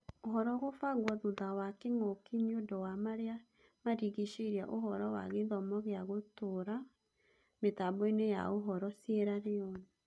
ũhoro gũbangwo thutha wa kĩng'ũki nĩũndũ wa marĩa marigicĩirie ũhoro wa gĩthomo gĩa gũtũra mĩtamboinĩ ya ũhoro Sieraloni.